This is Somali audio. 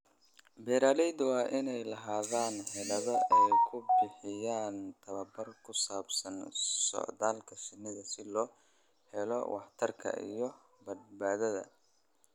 Beeralayda waa inay lahaadaan xeelado ay ku bixiyaan tababar ku saabsan socdaalka shinnida si loo helo waxtarka iyo badbaadada.